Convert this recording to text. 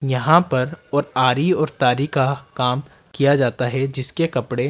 यहां पर और आरी और तारी का काम किया जाता है जिसके कपड़े--